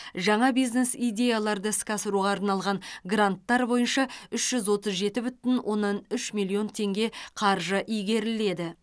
жаңа бизнес идеяларды іске асыруға арналған гранттар бойынша үш жүз отыз жеті бүтін оннан үш миллион теңге қаржы игеріледі